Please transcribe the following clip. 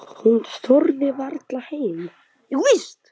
Hún þorði varla heim.